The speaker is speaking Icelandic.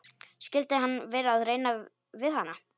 Skyldi hann vera að reyna við hana?